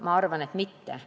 Ma arvan, et mitte.